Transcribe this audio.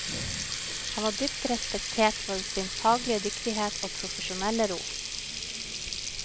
Han var dypt respektert for sin faglige dyktighet og profesjonelle ro.